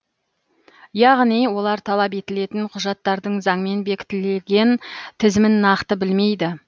яғни олар талап етілетін құжаттардың заңмен бекітілген тізімін нақты білмейді